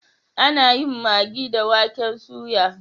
Ana yin magi da waken soya.